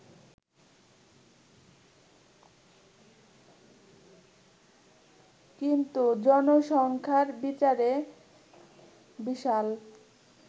কিন্তু জনসংখ্যার বিচারে বিশাল